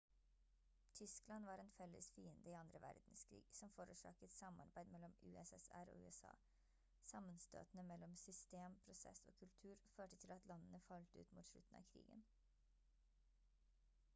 tyskland var en felles fiende i andre verdenskrig som forårsaket samarbeid mellom ussr og usa sammenstøtene mellom system prosess og kultur førte til at landene falt ut mot slutten av krigen